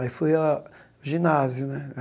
Aí fui a ginásio, né?